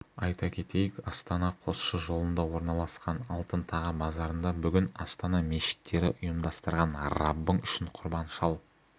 айта кетейік астана-қосшы жолында орналасқан алтын таға базарында бүгін астана мешіттері ұйымдастырған раббың үшін құрбан шал